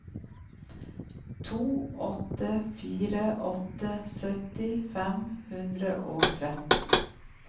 to åtte fire åtte sytti fem hundre og tretten